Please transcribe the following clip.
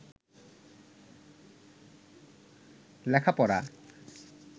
লেখাপড়া